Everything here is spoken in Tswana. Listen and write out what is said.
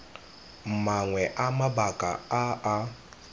mangwe a mabaka a a